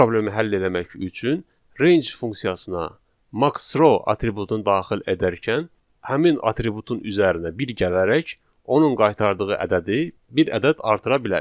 Bu problemi həll eləmək üçün range funksiyasına maxrow atributunu daxil edərkən həmin atributun üzərinə bir gələrək onun qaytardığı ədədi bir ədəd artıra bilərik.